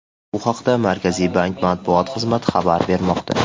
Bu haqda Markaziy bank matbuot xizmati xabar bermoqda .